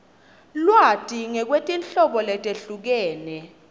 lwati ngekwetinhlobo letehlukene